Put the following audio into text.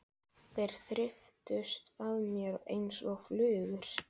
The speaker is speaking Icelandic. Þeir þyrptust að mér einsog flugur.